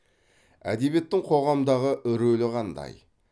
әдебиеттің қоғамдағы рөлі қандай